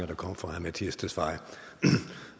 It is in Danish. der kommer fra herre mattias tesfaye